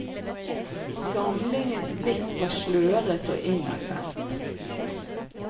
Gamlingens blikk var slørete og innadvendt.